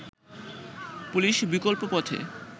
police বিকল্প পথে